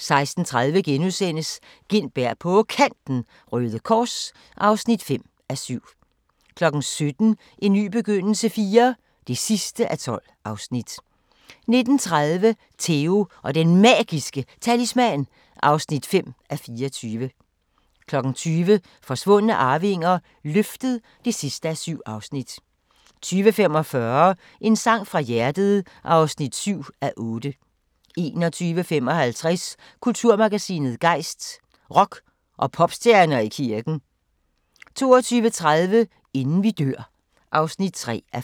16:30: Gintberg på Kanten – Røde Kors (5:7)* 17:00: En ny begyndelse IV (12:12) 19:30: Theo & Den Magiske Talisman (5:24) 20:00: Forsvundne arvinger: Løftet (7:7) 20:45: En sang fra hjertet (7:8) 21:55: Kulturmagasinet Gejst: Rock- og popstjerner i kirken 22:30: Inden vi dør (3:5)